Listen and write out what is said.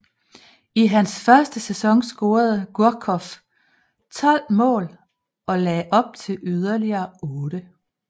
I hans første sæson scorede Gourcuff 12 mål og lagde op til yderligere 8